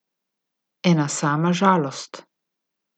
Ena sama žalost.